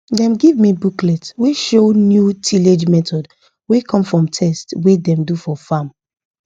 dem give me booklet wey show new tillage method wey come from test wey dem do for farm